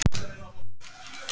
Þínar Hildur og Katla.